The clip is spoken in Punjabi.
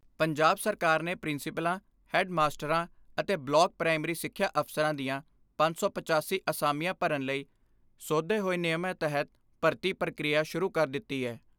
ਪੰਜਾਬ ਸਰਕਾਰ ਨੇ ਪ੍ਰਿੰਸੀਪਲਾਂ, ਹੈੱਡ ਮਾਸਟਰਾਂ ਅਤੇ ਬਲਾਕ ਪ੍ਰਾਇਮਰੀ ਸਿੱਖਿਆ ਅਫਸਰਾਂ ਦੀਆਂ ਪੰਜ ਸੌ ਪਚਾਸੀ ਅਸਾਮੀਆਂ ਭਰਨ ਲਈ ਸੋਧੇ ਹੋਏ ਨਿਯਮਾਂ ਤਹਿਤ ਭਰਤੀ ਪ੍ਰਕਿਰਿਆ ਸ਼ੁਰੂ ਕਰ ਦਿੱਤੀ ਐ।